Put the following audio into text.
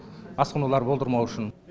асқынулар болдырмау үшін